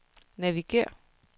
navigér